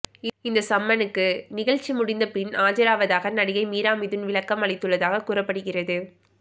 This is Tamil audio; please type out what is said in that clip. இந்த சம்மனுக்கு நிகழ்ச்சி முடிந்த பின் ஆஜராவதாக நடிகை மீரா மிதுன் விளக்கம் அளித்துள்ளதாக கூறப்படுகிறது